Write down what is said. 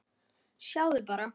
Sjáðu bara.